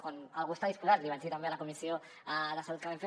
quan algú està disposat li vaig dir també a la comissió de salut que vam fer